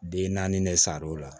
Den naani ne sar'o la